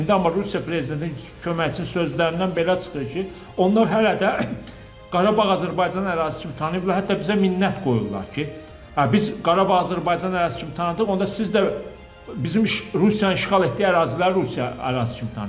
İndi Rusiya prezidentinin köməkçisi sözlərindən belə çıxır ki, onlar hələ də Qarabağ Azərbaycan ərazisi kimi tanıyıblar, hətta bizə minnət qoyurlar ki, biz Qarabağ Azərbaycan ərazisi kimi tanıdıq, onda siz də Rusiyanın işğal etdiyi əraziləri Rusiya ərazisi kimi tanıyın.